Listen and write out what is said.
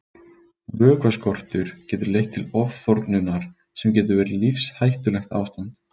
Vökvaskortur getur leitt til ofþornunar sem getur verið lífshættulegt ástand.